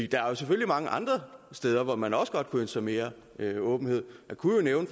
der er selvfølgelig mange andre steder hvor man også godt kunne sig mere åbenhed jeg kunne